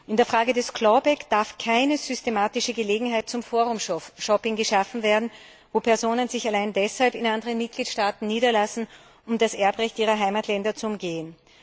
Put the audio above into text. In der Frage des clawback darf keine systematische Gelegenheit zum Forumshopping geschaffen werden, wo Personen sich allein deshalb in anderen Mitgliedstaaten niederlassen, um das Erbrecht ihrer Heimatländer zu umgehen.